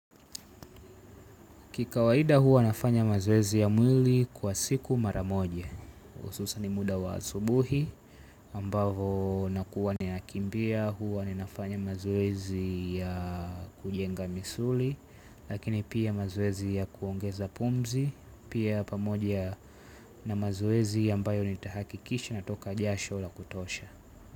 Kikawaida huwa nafanya mazoezi ya mwili kwa siku mara moja. Hususan muda wa asubuhi ambavo na kuwa nia kimbia huwa na nafanya mazoezi ya kujenga misuli lakini pia mazoezi ya kuongeza pumzi pia pamoja na mazoezi ambayo ni tahakikisha na toka jasho la kutosha.